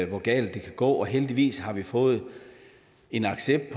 hvor galt det kan gå og heldigvis har vi fået en accept